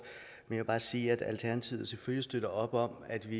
men jeg vil bare sige at alternativet selvfølgelig støtter op om at vi